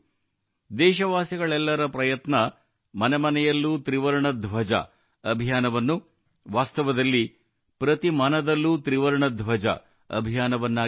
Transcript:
ದೇಶವಾಸಿಗಳೆಲ್ಲರ ಪ್ರಯತ್ನವು ಮನೆ ಮನೆಯಲ್ಲೂ ತ್ರಿವರ್ಣ ಧ್ವಜ ಹರ್ ಘರ್ ತಿರಂಗಾ ಅಭಿಯಾನವನ್ನು ವಾಸ್ತವದಲ್ಲಿ ಪ್ರತಿ ಮನದಲ್ಲೂ ತ್ರಿವರ್ಣ ಧ್ವಜ ಹರ್ ಮನ್ ತಿರಂಗಾ ಅಭಿಯಾನವನ್ನಾಗಿ ಮಾಡಿತು